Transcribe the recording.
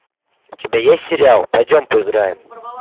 у тебя есть сериал пойдем поиграем